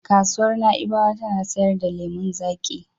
Kasuwar Na'ibawa ta na sayar da lemon zaƙi.